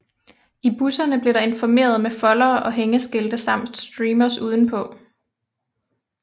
I busserne blev der informeret med foldere og hængeskilte samt streamers udenpå